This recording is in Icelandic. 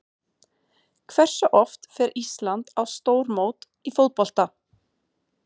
Hversu oft fer Ísland á stórmót í fótbolta?